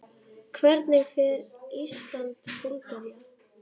Hvernig fer Ísland- Búlgaría?